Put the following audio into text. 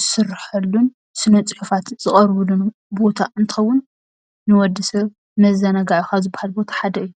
ዝስረሐሉን ስነ ፅሑፋት ዝቐርበሉን ቦታ እንትኸውን ንወድሰብ ንመዘናግዒ ካብ ዝበሃል ቦታ ሓደ እዩ፡፡